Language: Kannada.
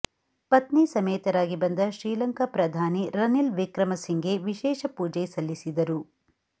ಪತ್ನಿ ಸಮೇತರಾಗಿ ಬಂದ ಶ್ರೀಲಂಕಾ ಪ್ರಧಾನಿ ರನಿಲ್ ವಿಕ್ರಮ ಸಿಂಘೆ ವಿಶೇಷ ಪೂಜೆ ಸಲ್ಲಿಸಿದರು